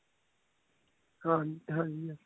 ਹਾਂਜੀ ਹਾਂਜੀ